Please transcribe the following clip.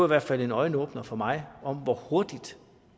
hvert fald en øjenåbner for mig om hvor hurtigt